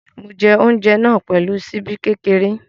Mo jẹ oúnjẹ náà pẹ̀lú ṣíbí kékeré.